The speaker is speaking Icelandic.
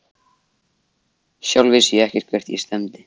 Sjálf vissi ég ekkert hvert ég stefndi.